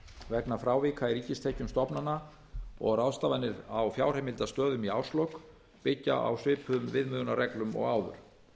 vegna frávika í ríkistekjum stofnana og ráðstafanir á fjárheimildastöðum í árslok byggja á svipuðum viðmiðunarreglum og